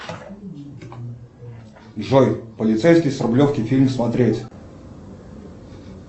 джой полицейский с рублевки фильм смотреть